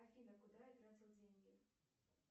афина куда я тратил деньги